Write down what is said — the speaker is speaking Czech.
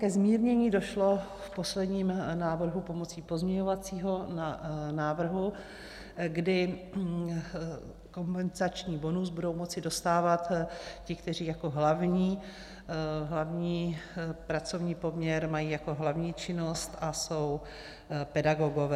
Ke zmírnění došlo v posledním návrhu pomocí pozměňovacího návrhu, kdy kompenzační bonus budou moci dostávat ti, kteří jako hlavní pracovní poměr mají jako hlavní činnost a jsou pedagogové.